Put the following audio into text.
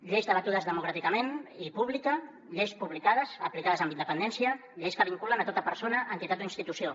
lleis debatudes democràticament i pública lleis publicades aplicades amb independència lleis que vinculen tota persona entitat o institució